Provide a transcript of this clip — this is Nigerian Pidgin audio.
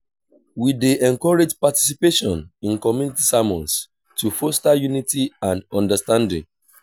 we dey encourage participation in community sermons to foster unity and understanding.